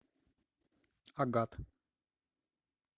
агат